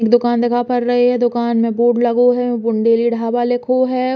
एक दुकान दिख पर रही है। दुकान में बोर्ड लगो है। बुंदेली ढाबा लिखो है।